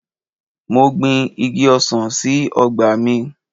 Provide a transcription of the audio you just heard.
Mo gbin Igi ọsàn sí ọgbà mi.